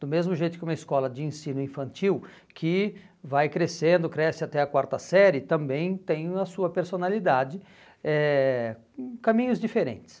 Do mesmo jeito que uma escola de ensino infantil, que vai crescendo, cresce até a quarta série, também tem a sua personalidade, eh hum caminhos diferentes.